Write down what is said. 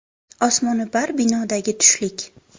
Osmono‘par binodagi tushlik.